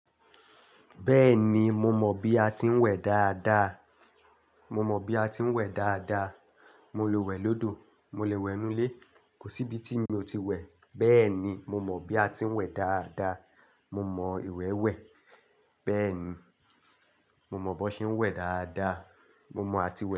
Bẹ́ẹ̀ni mo mọ bi a ti ń wẹ̀ dáadáa. Mo mọ bi a ti ń wẹ̀ dáadáa. Mo lè wẹ̀ lódò, mo lè wẹ̀ nú ilé, kò sí ibi tí mi ò ti wẹ̀. Bẹ́ẹ̀ni, mo mọ bi a ti ń wẹ̀ dáadáa. Mo mọ ìwẹ́ wẹ̀, bẹ́ẹ̀ni. Mo mọ bó se ń wẹ̀ dáadáa. Mo mọ àti wẹ̀